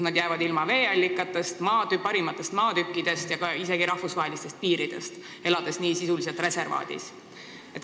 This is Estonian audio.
Nad jäävad ilma veeallikatest, parimatest maatükkidest ja isegi rahvusvahelistest piiridest, elades niimoodi sisuliselt reservaadis.